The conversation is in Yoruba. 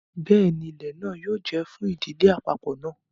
Bẹẹni, ilẹ náà yóò jẹ fún ìdílé apapọ náà